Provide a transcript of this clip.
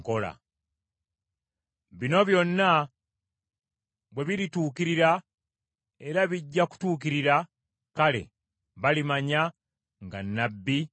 “Bino byonna bwe birituukirira, era bijja kutuukirira, kale balimanya nga nnabbi abadde mu bo.”